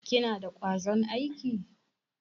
Kina da kwazon aiki?